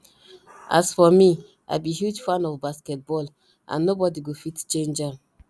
as for me i be huge fan of basket ball and nobody go fit change am